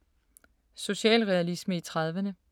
Socialrealisme i 30’erne